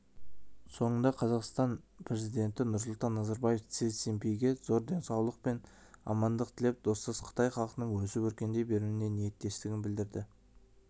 соңында қазақстан президенті нұрсұлтан назарбаев си цзиньпинге зор денсаулық пен амандық тілеп достас қытай халқының өсіп-өркендей беруіне ниеттестігін білдірді